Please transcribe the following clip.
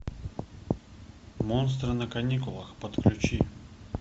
монстры на каникулах подключи